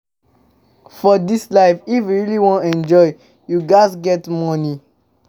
But for dis life, if you really wan enjoy you ghas get money.